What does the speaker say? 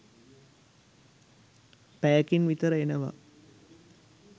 පැයකින් විතර එනවා